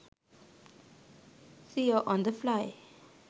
seo on the fly